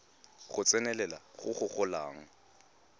go tsenelela go go golang